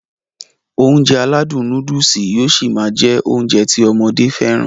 Ounjẹ aládùn nóódùsì yóó ṣi máá jẹ́ Ounjẹ ti ọmọdé fẹ́ràn